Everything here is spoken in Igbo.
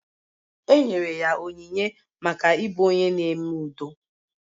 E nyere ya onyinye maka ịbụ onye na-eme udo